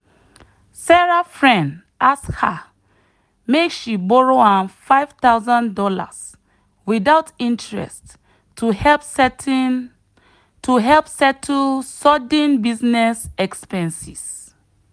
sarah friend ask her make she borrow am five thousand dollars without interest to help certain to help settle sudden business expenses.